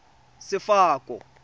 sefako